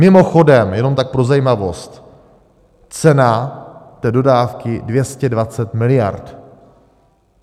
Mimochodem, jenom tak pro zajímavost, cena té dodávky - 220 miliard.